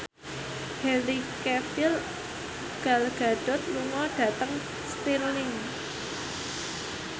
Henry Cavill Gal Gadot lunga dhateng Stirling